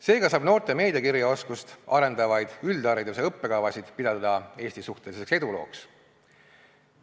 Seega saab noorte meediakirjaoskust arendavaid üldhariduse õppekavasid pidada Eesti suhteliseks edulooks.